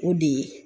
O de ye